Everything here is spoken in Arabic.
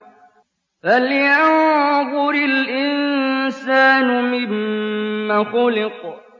فَلْيَنظُرِ الْإِنسَانُ مِمَّ خُلِقَ